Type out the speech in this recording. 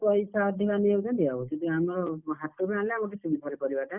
ପଇସା ଅଧିକା ନେଇ ଯାଉଛନ୍ତି, ଆଉ ସେଥିପାଇଁ ଆମର ହାଟରୁ ଆଣିଲେ ଆମକୁ ଟିକେ ଭଲ ପନିପରିବା ଟା,